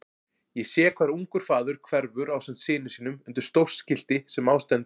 Ég sé hvar ungur faðir hverfur ásamt syni sínum undir stórt skilti sem á stendur